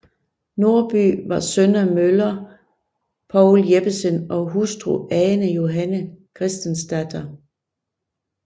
Nordby var søn af møller Poul Jeppesen og hustru Ane Johanne Christensdatter